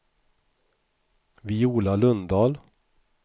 Viola Lundahl